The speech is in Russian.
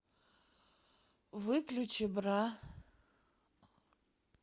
выключи бра